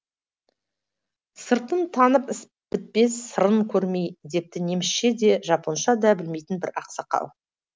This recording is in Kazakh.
сыртын танып іс бітпес сырын көрмей депті немісше де жапонша да білмейтін бір ақсақал